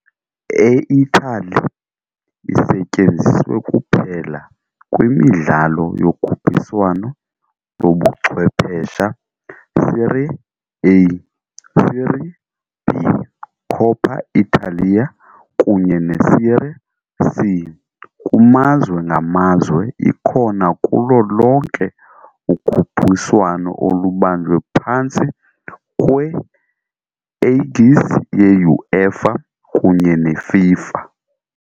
E-Italy isetyenziswe kuphela kwimidlalo yokhuphiswano lobuchwephesha Serie A, Serie B, Coppa Italia, kunye neSerie C, kumazwe ngamazwe, ikhona kulo lonke ukhuphiswano olubanjwe phantsi kwe-aegis ye-UEFA kunye neFIFA.